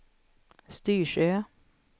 Styrsö